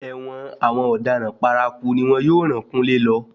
Ẹ̀wọ̀n àwọn ọ̀daràn paraku ni wọn yóò ràn kúnlé lọ.